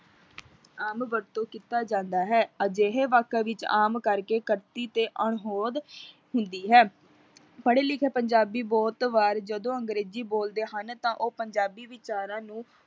ਆਮ ਵਰਤੋਂ ਕੀਤਾ ਜਾਂਦਾ ਹੈ, ਅਜਿਹੇ ਵਾਕਾਂ ਵਿੱਚ ਆਮ ਕਰਕੇ ਤੇ ਅਣਹੋਂਦ ਹੁੰਦੀ ਹੈ, ਪੜ੍ਹੇ ਲਿਖੇ ਪੰਜਾਬੀ ਬਹੁਤ ਵਾਰ ਜਦੋਂ ਅੰਗਰੇਜ਼ੀ ਬੋਲਦੇ ਹਨ, ਤਾਂ ਉਹ ਪੰਜਾਬੀ ਵਿਚਾਰਾਂ ਨੂੰ